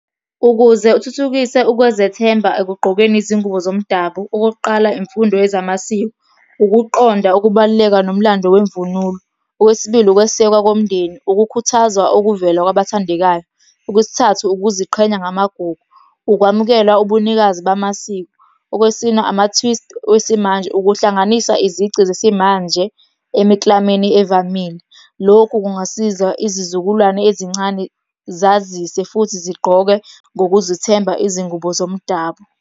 Ukuze uthuthukise ukuzethemba ekugqokeni izingubo zomdabu, okokuqala, imfundo yezamasiko, ukuqonda ukubaluleka nomlando kwemvunulo. Okwesibili, ukwesekwa komndeni, ukukhuthazwa okuvela kwabathandekayo. Okwesithathu, ukuziqhenya ngamagugu, ukwamukela ubunikazi bamasiko. Okwesine, ama-twist wesimanje ukuhlanganisa izici zesimanje emiklameni evamile. Lokhu kungasiza izizukulwane ezincane zazise futhi zigqoke ngokuzithemba izingubo zomdabu.